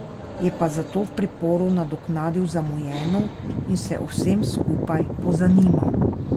Je pa zato v priporu nadoknadil zamujeno in se o vsem skupaj pozanimal.